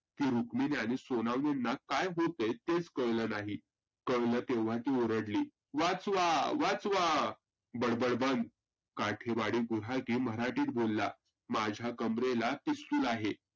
की रुक्मिनी आणि सोनावनेंना काय होतय तेच कळलं नाही. कळलं तेव्हा ती ओरडली, वाचवा वाचवा बडबड बंद काठीवाडी गुराखी मराठीत बोलला. माझ्या कंबरेला पिस्तूल आहे.